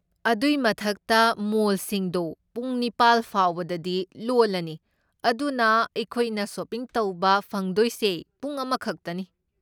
ꯑꯗꯨꯏ ꯃꯊꯛꯇ, ꯃꯣꯜꯁꯤꯡꯗꯣ ꯄꯨꯡ ꯅꯤꯄꯥꯜ ꯐꯥꯎꯕꯗꯗꯤ ꯂꯣꯜꯂꯅꯤ, ꯑꯗꯨꯅ ꯑꯩꯈꯣꯏꯅ ꯁꯣꯄꯤꯡ ꯇꯧꯕ ꯐꯪꯗꯣꯏꯁꯦ ꯄꯨꯡ ꯑꯃꯈꯛꯇꯅꯤ꯫